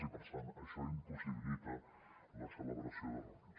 i per tant això impossibilita la celebració de reunions